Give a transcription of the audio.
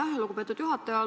Aitäh, lugupeetud juhataja!